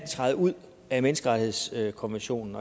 træde ud af menneskerettighedskonventionen